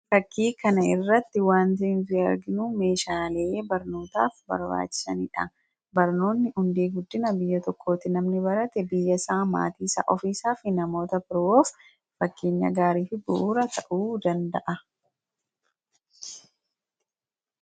Fakkii kana irratti wanti nuti arginu meeshaalee barnootaaf barbaachisanidha. Barnoonni hundee guddina biyya tokkooti. Namni barate biyya isaa, ofii isaa fi maatii isaaf fakkeenya gaarii fi bu'uura ta'uu danda’a.